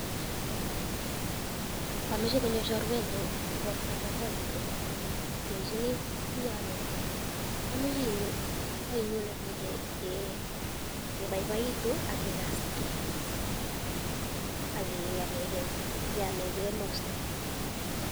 Indomoche konyoo chorwenyun igortoob boiboiyet alenyini imiono, amoche inyon nyokebaibaitun ak kigaskee, ak keamenge emostoo